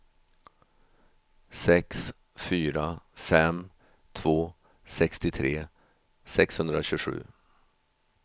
sex fyra fem två sextiotre sexhundratjugosju